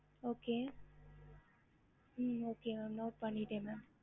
ஹம்